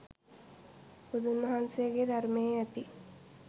බුදුන් වහන්සේගේ ධර්මයේ ඇති